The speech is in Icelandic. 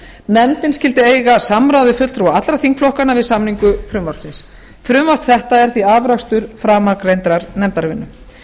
nefndin skyldi eiga samráð við fulltrúa allra þingflokkanna við samningu frumvarpsins frumvarp þetta er því afrakstur framangreindrar nefndarvinnu